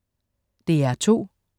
DR2: